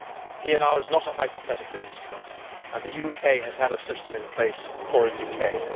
PNR is not a hypothetical instrument and the UK has had a system in place for a decade.